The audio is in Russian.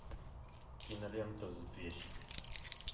кинолента зверь